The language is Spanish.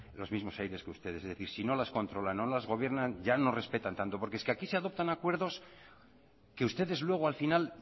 los mismos aires que ustedes es decir si no las controlan o no las gobiernan ya no respetan tanto porque es que aquí se adoptan acuerdos que ustedes luego al final